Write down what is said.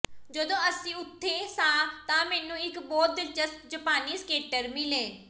ਜਦੋਂ ਅਸੀਂ ਉੱਥੇ ਸਾਂ ਤਾਂ ਮੈਨੂੰ ਇਕ ਬਹੁਤ ਦਿਲਚਸਪ ਜਪਾਨੀ ਸਕੇਟਰ ਮਿਲੇ